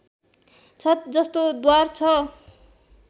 छत जस्तो द्वार छ